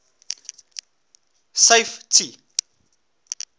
safety